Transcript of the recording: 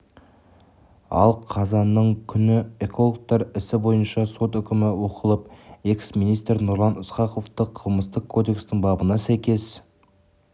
ал қазанның күні экологтар ісі бойынша сот үкімі оқылып экс-министр нұрлан ысқақовты қылмыстық кодекстің бабына сәйкес